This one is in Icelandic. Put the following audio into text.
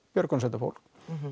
björgunarsveitar fólk